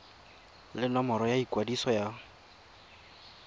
le nomoro ya ikwadiso ya